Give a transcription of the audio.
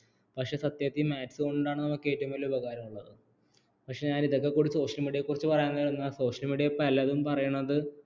പക്ഷേ സത്യത്തിൽ maths കൊണ്ടാണ് നമുക്ക് ഏറ്റവും വലിയ ഉപകാരമുള്ളത് പക്ഷേ ഞാൻ ഇതൊക്കെ കൂടി social media യെക്കുറിച്ചു social media യിൽ പലതും പറയണത്